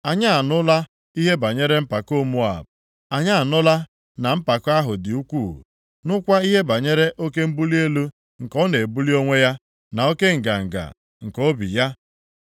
“Anyị anụla ihe banyere mpako Moab. Anyị anụla na mpako ahụ dị ukwuu, nụkwa ihe banyere oke mbuli elu nke ọ na-ebuli onwe ya, na oke nganga nke obi ya.